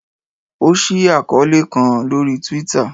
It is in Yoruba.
o ṣii akọọlẹ kan lori Twitter